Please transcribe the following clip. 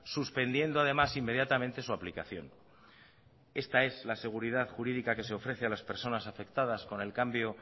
suspendiendo además inmediatamente su aplicación esta es la seguridad jurídica que se ofrece a las personas afectadas con el cambio